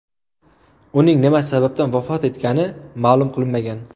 Uning nima sababdan vafot etgani ma’lum qilinmagan.